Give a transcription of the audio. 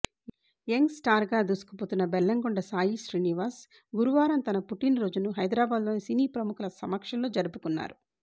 young స్టార్గా దూసుకుపోతున్న బెల్లంకొండ సాయి శ్రీనివాస్ గురువారం తన పుట్టినరోజును హైదరాబాద్లో సినీ ప్రముఖుల సమక్షంలో జరుపుకున్నారు